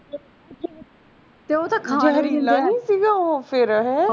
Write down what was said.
ਫੇਰ ਓਹ ਤਾਂ ਖਾ ਨੀ ਹੁੰਦਾ ਸੀਗਾ ਫੇਰ ਉਹ